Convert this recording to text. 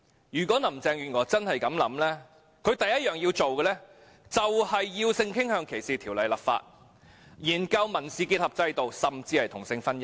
如果林鄭月娥真是這樣想，她首要任務便是要就性傾向歧視條例立法、研究民事結合制度，甚至是同性婚姻。